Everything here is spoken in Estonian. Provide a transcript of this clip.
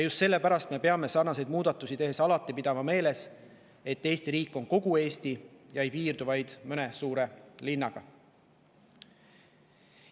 Just selle pärast me peame sarnaseid muudatusi tehes pidama alati meeles, et Eesti riik on kogu Eesti, mitte ei piirdu vaid mõne suure linnaga.